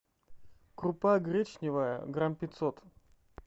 крупа гречневая грамм пятьсот